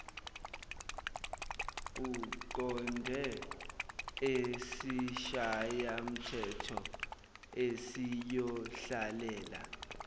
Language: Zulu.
uqonde esishayamthetho esiyohlalela